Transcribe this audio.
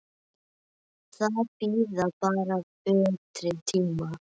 Það bíður bara betri tíma.